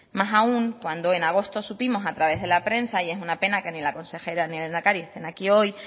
más aun cuando en agosto supimos a través de la prensa y es una pena que ni la consejera ni el lehendakari estén aquí hoy